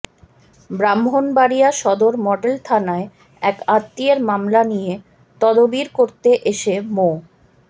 ব্রাহ্মণবাড়িয়া সদর মডেল থানায় এক আত্মীয়ের মামলা নিয়ে তদবির করতে এসে মো